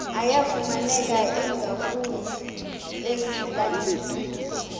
ayafumaneka ingakumbi ezilalini